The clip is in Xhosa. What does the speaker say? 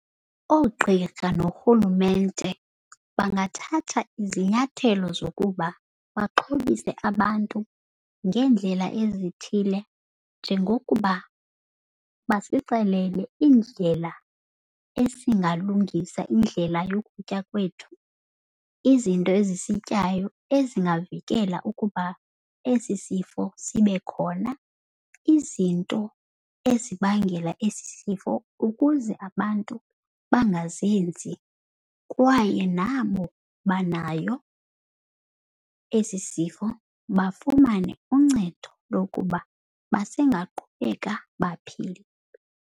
Ogqirha norhulumente bangathatha izinyathelo zokuba baxhobise abantu ngeendlela ezithile njengokuba basixelele iindlela esingalungisa indlela yokutya kwethu. Izinto ezisityayo ezingavikela ukuba esi sifo sibe khona. Izinto ezibangela esi sifo ukuze abantu bangazenzi. Kwaye nabo banayo esi sifo bafumane uncedo lokuba basengaqhubeka baphile.